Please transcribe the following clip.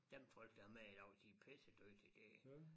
Dem folk der er med i dag de er pisse dygtige det